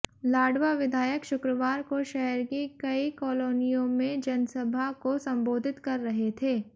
लाडवा विधायक शुक्रवार को शहर की कई कॉलोनियों में जनसभा को संबोधित कर रहे थे